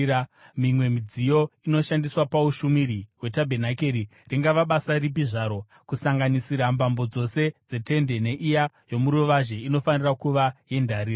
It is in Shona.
Mimwe midziyo inoshandiswa paushumiri hwetabhenakeri, ringava basa ripi zvaro, kusanganisira mbambo dzose dzetende neiya yomuruvazhe, inofanira kuva yendarira.